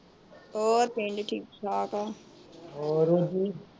ਹੋਰ ਪਿੰਡ ਠੀਕ ਠਾਕ ਏ।